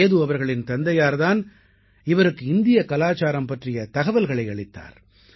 சேது அவர்களின் தந்தையார் தான் இவருக்கு இந்திய கலாச்சாரம் பற்றிய தகவல்களை அளித்தார்